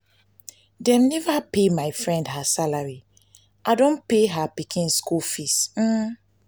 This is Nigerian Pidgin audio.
dem neva pay my friend her salary i don pay her pikin skool fees.